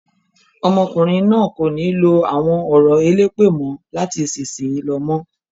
Ọmọkùnrin náà kò ní lo àwọn ọ̀rọ̀ elépè mọ́ láti ìsìnyí lọ mọ́.